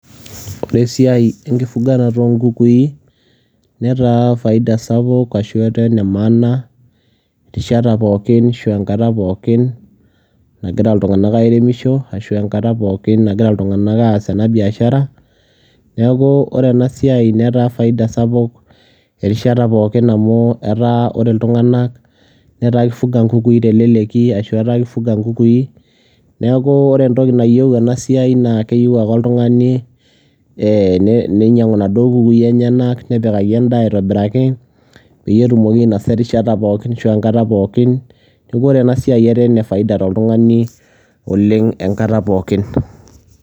Ore siai enkufugaroto enkukui netaa faida ashu etaa nee maana rishatan pookin nkaatan pookin nagiraa ltung'anak aremishon ashu nkaatan pookin nagiraa ltung'ana aas ana biashara. Neeku ore ena siai netaa faida sapuuk erishaatan pookin amu ore ltung'ana etaa keifugaa nkukui te leleki ashu etaa keifugaa nkukui. Neeku ore ntoki naiyeu ena siai naa keiyeu ake oltung'ani ee neiyau naa doo nkukui enyanak nepikaki ndaa aitobiraki pee itomoki ainosa rishatan pookin ashu nkaatan pookin. Naeko ore ana siai ere ne faida to ltung'ani oleng enkaata pookin.